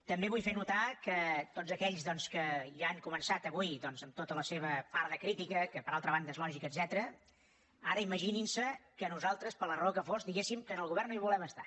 també vull fer notar que tots aquells que ja han començat avui amb tota la seva part de crítica que per altra banda és lògica etcètera ara imaginin se que nosaltres per la raó que fos diguéssim que en el govern no hi volem estar